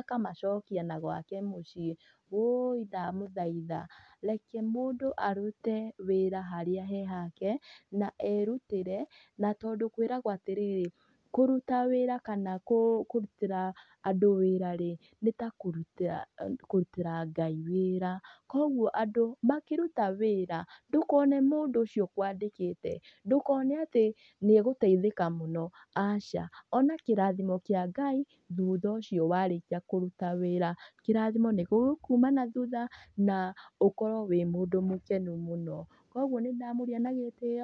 akamacokia nagwake mũciĩ. Woi ndamũthaitha, reke mũndũ arute wĩra harĩa hake na erutĩre. Na tondũ kwĩragwo atĩrĩrĩ, kũruta wĩra kana kũrutĩra andũ wĩra-rĩ, nĩ ta kũrutĩra Ngai wĩra. Koguo andũ makĩrita wĩra, ndũkone mũndũ ũcio ũkwandikĩte. Ndũkone atĩ nĩ egũteithĩka mũno, aca. Ona kĩrathimo kia Ngai. Thutha ũcio warĩkia kũruta wĩra. Kĩrathimo nĩ gĩgũkuuma na thutha, ũkorwo wĩ mũndũ mũkenu mũno. Koguo nĩ ndamũria na gĩtio.